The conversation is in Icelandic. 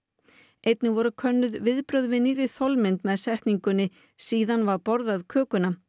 einnig voru könnuð viðbrögð við nýrri þolmynd með setningunni síðan var borðað kökuna